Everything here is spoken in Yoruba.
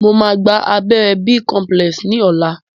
Mo máa gba abẹ́rẹ́ b-complex ni ọ̀la